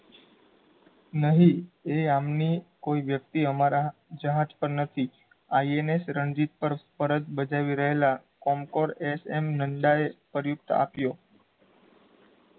નહીં, એ આમની કોઈ વ્યક્તિ અમારાં જહાજ પર નથી ins રણજીત ફરજ બજાવી રહેલાં કોમડર S. M. નંદાએ પર્યુપ્ત આપ્યો